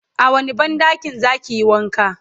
a wani banɗakin zakiyi wanka?